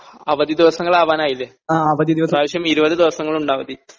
അവധി ദിവസങ്ങൾ ആവാനായില്ലേ ഈ പ്രാവശ്യം ഇരുപതു ദിവസമുണ്ട് അവധി